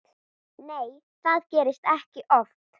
Nei það gerist ekki oft.